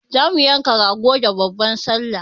Za mu yanka rago da babban sallah.